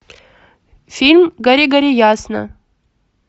фильм гори гори ясно